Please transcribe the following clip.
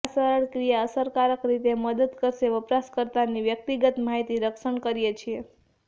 આ સરળ ક્રિયા અસરકારક રીતે મદદ કરશે વપરાશકર્તાની વ્યક્તિગત માહિતી રક્ષણ કરીએ છીએ